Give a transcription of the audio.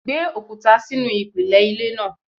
Gbé òkúta sínú ìpìlẹ̀ ilé náà!